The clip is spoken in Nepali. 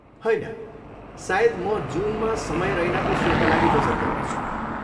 होइन, सायद म जुनमा समय रैनाको सोका लागि बचत गर्नेछु।